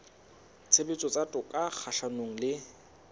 tshebetso tsa toka kgahlanong le